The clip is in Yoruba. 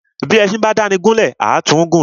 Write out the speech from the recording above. Bí éṣin bá dáni gún lè, à tún gùn ni.